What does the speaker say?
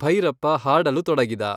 ಭೈರಪ್ಪ ಹಾಡಲು ತೊಡಗಿದ.